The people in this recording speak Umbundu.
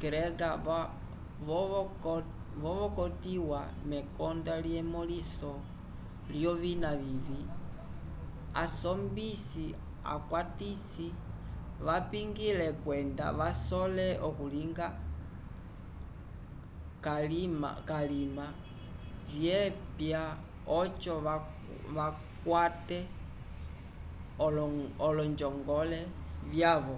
grega vavotokiwa mekonda lyemõliso lyovina vivĩ asombisi akwatisi vapingile kwenda vasole okulinga kalima vyapia oco vakwate olonjongole vyavo